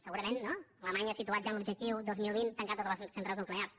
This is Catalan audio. segurament no alemanya ha situat ja en l’objectiu dos mil vint tancar totes les centrals nuclears